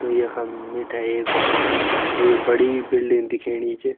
त यखम मिथे एक एक बड़ी बिल्डिंग दिखेणी च।